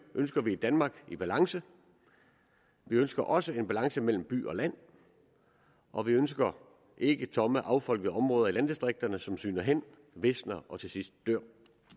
ønsker vi et danmark i balance vi ønsker også en balance mellem by og land og vi ønsker ikke tomme affolkede områder i landdistrikterne som sygner hen visner og til sidst dør